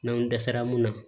N'anw dɛsɛra mun na